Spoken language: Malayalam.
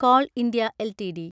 call India LTD